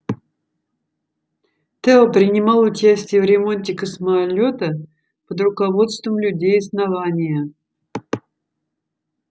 тео принимал участие в ремонте космолёта под руководством людей основания